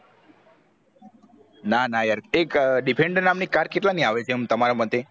ના ના યાર એક defender નામ ની car કેટલા ની આવે છે આમ તમારે મતે